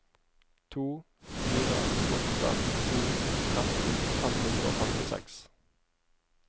to fire åtte to tretten fem hundre og femtiseks